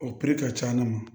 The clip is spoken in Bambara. O ka c'ala ma